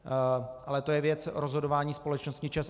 Ale to je věc rozhodování společnosti ČEZ.